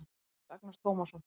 Tómas Agnar Tómasson